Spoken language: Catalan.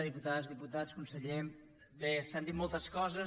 diputades diputats conseller bé s’han dit moltes coses